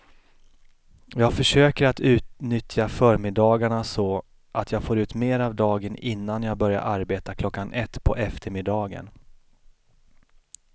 Jag försöker att utnyttja förmiddagarna så att jag får ut mer av dagen innan jag börjar arbeta klockan ett på eftermiddagen.